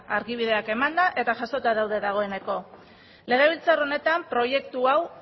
argibideak emanda eta jasota daude dagoeneko legebiltzar honetan proiektu hau